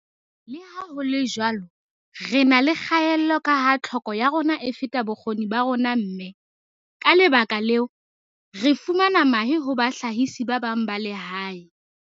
"Leha ho le jwalo, re na le kgaello kaha tlhoko ya rona e feta bokgoni ba rona mme, ka lebaka leo, re fumana mahe ho bahlahisi ba bang ba lehae."